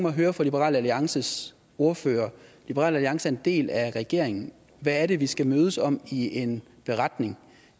at høre fra liberal alliances ordfører liberal alliance er en del af regeringen hvad er det vi skal mødes om i en beretning